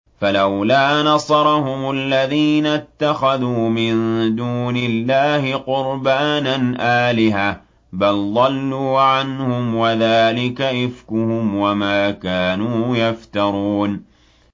فَلَوْلَا نَصَرَهُمُ الَّذِينَ اتَّخَذُوا مِن دُونِ اللَّهِ قُرْبَانًا آلِهَةً ۖ بَلْ ضَلُّوا عَنْهُمْ ۚ وَذَٰلِكَ إِفْكُهُمْ وَمَا كَانُوا يَفْتَرُونَ